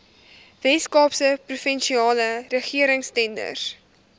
weskaapse provinsiale regeringstenders